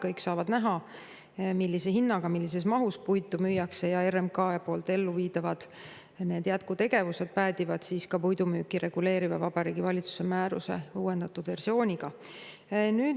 Kõik saavad näha, millise hinnaga millises mahus puitu müüakse, ja RMK elluviidavad jätkutegevused päädivad ka puidu müüki reguleeriva Vabariigi Valitsuse määruse uuendatud versiooniga.